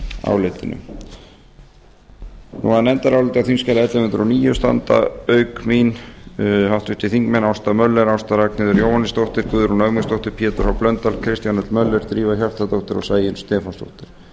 álitinu að nefndaráliti á þingskjali ellefu hundruð og níu standa auk mín háttvirtir þingmenn ásta möller ásta ragnheiður jóhannesdóttir guðrún ögmundsdóttir pétur h blöndal kristján l möller drífa hjartardóttir og sæunn stefánsdóttir